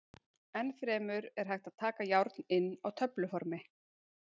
Enn fremur er hægt að taka járn inn á töfluformi.